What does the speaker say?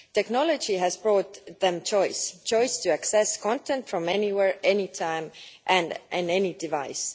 Technology has brought them choice choice to access content from anywhere, at any time and on any device.